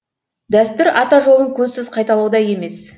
дәстүр ата жолын көзсіз қайталау да емес